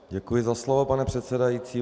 Děkuji za slovo, pane předsedající.